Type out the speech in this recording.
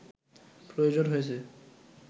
প্রয়োজন হয়েছে